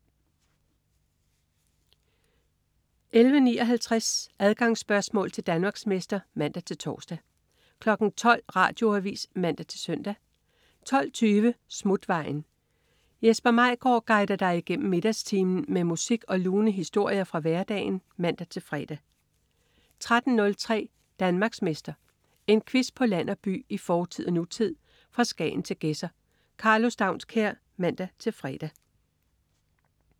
11.59 Adgangsspørgsmål til Danmarksmester (man-tors) 12.00 Radioavis (man-søn) 12.20 Smutvejen. Jesper Maigaard guider dig igennem middagstimen med musik og lune historier fra hverdagen (man-fre) 13.03 Danmarksmester. En quiz på land og by, i fortid og nutid, fra Skagen til Gedser. Karlo Staunskær (man-fre)